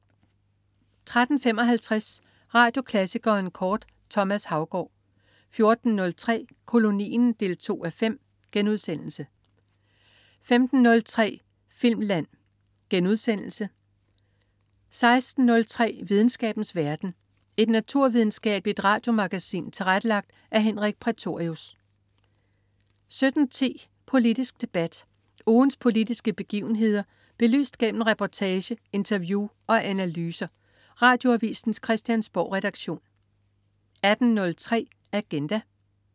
13.55 Radioklassikeren kort. Thomas Haugaard 14.03 Kolonien 2:5* 15.03 Filmland* 16.03 Videnskabens verden. Et naturvidenskabeligt radiomagasin tilrettelagt af Henrik Prætorius 17.10 Politisk debat. Ugens politiske begivenheder belyst gennem reportage, interview og analyser. Radioavisens Christiansborgredaktion 18.03 Agenda